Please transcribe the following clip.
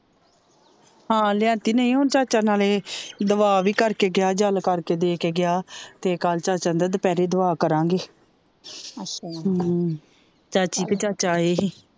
ਹਾਂ ਲਿਆਂਤੀ ਨਹੀਂ ਹੁਣ ਚਾਚਾ ਨਾਲੇ ਦਵਾ ਵੀ ਕਰਕੇ ਗਿਆ ਜਲ ਕਰਕੇ ਦੇ ਦੇ ਗਿਆ ਤੇ ਕੱਲ੍ਹ ਚਾਚਾ ਆਂਦਾ ਦੁਪਹਿਰੇ ਦਵਾ ਕਰਾਂਗੇ ਚਾਚੀ ਤੇ ਚਾਚਾ ਆਏ ਹੀ